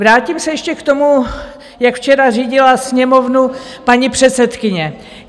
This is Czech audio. Vrátím se ještě k tomu, jak včera řídila Sněmovnu paní předsedkyně.